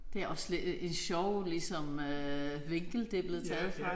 Det er også lidt et et sjov ligesom øh vinkel det er blevet taget fra